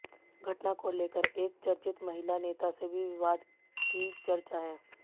घटना को लेकर एक चर्चित महिला नेता से भी विवाद की चर्चा है